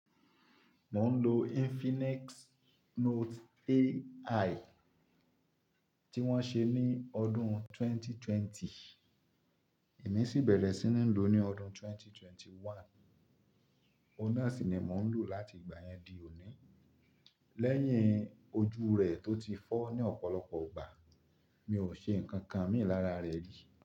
Mò ń lo Infinix Note AI tí wọ́n ṣe ní ọdún 2020, èmi sì bẹ̀rẹ̀ sí ní lò ó ní ọdún 2021. Ó náà sì ni mò ń lò láti ìgbà yẹn di òní. Lẹ́yìn ojú rẹ̀ tó ti fọ́ ní ọ̀pọ̀lọpọ̀ ìgbà, mi ò ṣe nǹkan kan mì lara rẹ̀ rí.